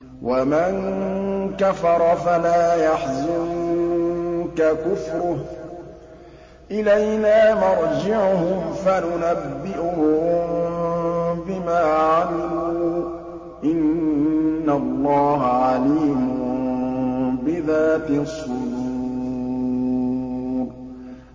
وَمَن كَفَرَ فَلَا يَحْزُنكَ كُفْرُهُ ۚ إِلَيْنَا مَرْجِعُهُمْ فَنُنَبِّئُهُم بِمَا عَمِلُوا ۚ إِنَّ اللَّهَ عَلِيمٌ بِذَاتِ الصُّدُورِ